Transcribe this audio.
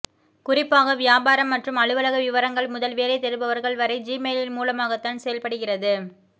குறிப்பாக வியாபாரம் மற்றும் அலுவலக விவரங்கள் முதல் வேலை தேடுபவர்கள் வரை ஜிமெயில் மூலமாகத்தான் செயல்படுகிறது